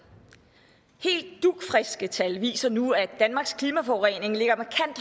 helt dugfriske tal viser nu at danmarks klimaforurening ligger